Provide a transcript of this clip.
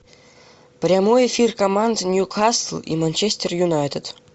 прямой эфир команд ньюкасл и манчестер юнайтед